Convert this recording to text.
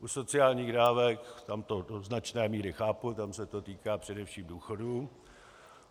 U sociálních dávek to do značné míry chápu, tam se to týká především důchodů.